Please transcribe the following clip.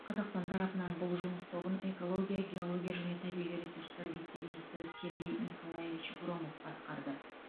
қазақстан тарапынан бұл жұмыс тобын экология геология және табиғи ресурстар вице министрі сергей николаевич громов басқарды